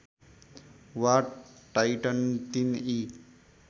वा टाइटन ३ ई